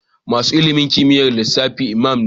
Masanin ilimin kimiyyar lissafi Imam ne